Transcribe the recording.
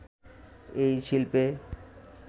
এই শিল্পে